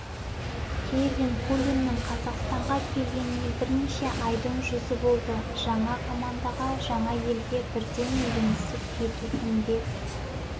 кевин пуленнің қазақстанға келгеніне бірнеше айдың жүзі болды жаңа командаға жаңа елге бірден үйренісіп кету кімге